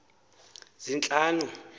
zintlanu